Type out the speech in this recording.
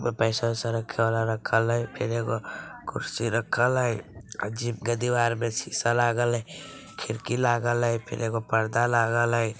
पैसा-वैसा रखल हई फिर एक कुर्सी रखल हई जिम के दीवार पर शीशा लागल हई खिड़की लागल हई फिर एगो पर्दा लागल हई।